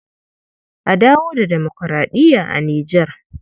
A dawo da demokuraɗiya a Nijar.